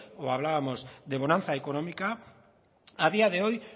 o hablábamos de bonanza económica a día de hoy